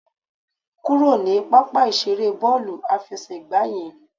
Kúrò ní pápá ìseré bọ́ọ̀lù àfẹsẹ̀gbá yẹn